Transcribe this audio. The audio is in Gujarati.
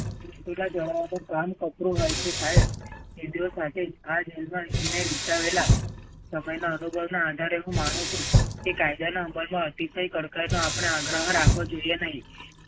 ઓનું કામ કપરું હોય છે સાહેબ. સમયના અનુભવના આધારે હું માનું છું કે કાયદાના અમલમાં આપડે અતિશય આગ્રહ રાખવો જોઈએ નહીં